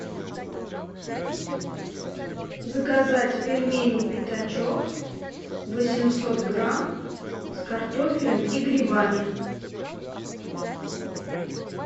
заказать пельмени пятачок восемьсот грамм с картофелем и грибами